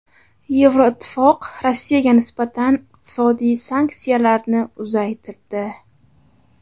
Yevroittifoq Rossiyaga nisbatan iqtisodiy sanksiyalarni uzaytirdi.